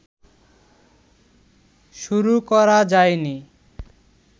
শুরু করা যায় নি